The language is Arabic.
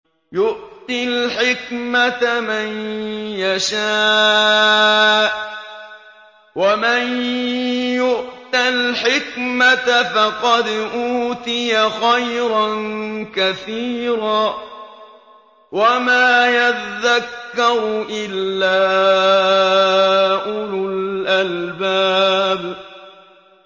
يُؤْتِي الْحِكْمَةَ مَن يَشَاءُ ۚ وَمَن يُؤْتَ الْحِكْمَةَ فَقَدْ أُوتِيَ خَيْرًا كَثِيرًا ۗ وَمَا يَذَّكَّرُ إِلَّا أُولُو الْأَلْبَابِ